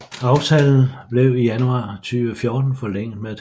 Aftalen blev i januar 2014 forlænget med et halvt år